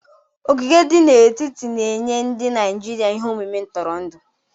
Ogige di n'etiti na-enye ndị Naijiria ihe omume ntụrụndụ.